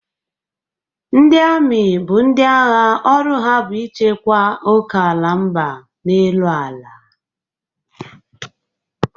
Ndị ami bụ ndị agha ọrụ ha bụ ichekwa okeala mba n'elu ala.